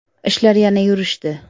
Ishlar yana yurishdi.